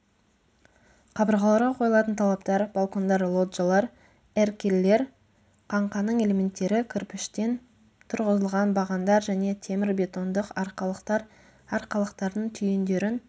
қабырғаларға қойылатын талаптар балкондар лоджиялар эркерлер қаңқаның элементтері кірпіштен тұрғызылған бағандар және темірбетондық арқалықтар арқалықтардың түйіндерін